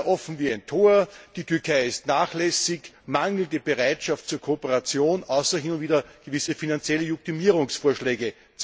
offen wie ein Tor, die Türkei ist nachlässig, mangelnde Bereitschaft zur Kooperation, außer hin und wieder gewisse finanzielle Junktimierungsvorschläge.